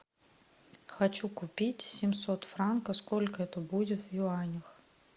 хочу купить семьсот франков сколько это будет в юанях